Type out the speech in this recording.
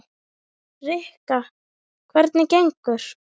Rikka, hvernig gengur?